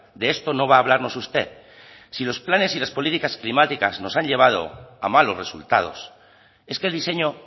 de esto no va a hablarnos usted si los planes y las políticas climáticas nos han llevado a malos resultados es que el diseño